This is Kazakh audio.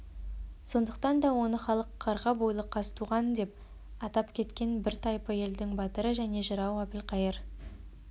сондықтан да оны халық қарға бойлы қазтуғандеп атап кеткен бір тайпы елдің батыры және жырауы әбілқайыр